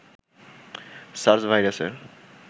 SARS ভাইরাসের